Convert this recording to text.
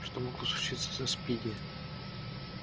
что могло случиться со спиди